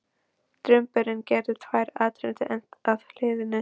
Drumburinn gerði tvær atrennur enn að þilinu.